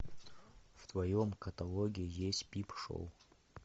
в твоем каталоге есть пип шоу